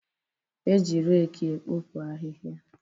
E ji reki ekpopu ahịhịa.